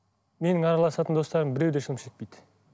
менің араласатын достарым біреуі де шылым шекпейді